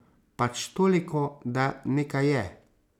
Pač toliko, da nekaj je.